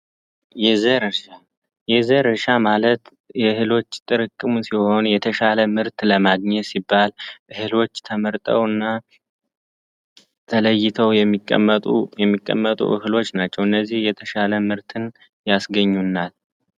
የዘር እርሻ የዘር እርሻ ማለት የህሎች ጥርቅም ሲሆን፤ የተሻለ ምርት ለማግኘት ሲባል እህሎች ተመርጠው እና ተለይተው የሚቀመጡ እህሎች ናቸው። እነዚህ የተሻለ ምርትን ያስገኙናል።